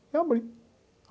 E eu abri.